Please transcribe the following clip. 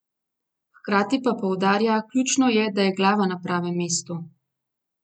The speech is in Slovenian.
Hkrati pa poudarja: "Ključno je, da je glava na pravem mestu.